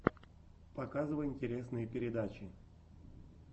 показывай интересные передачи